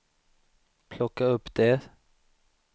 plocka upp det